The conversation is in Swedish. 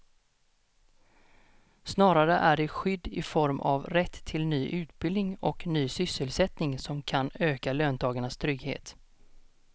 Snarare är det skydd i form av rätt till ny utbildning och ny sysselsättning som kan öka löntagarnas trygghet.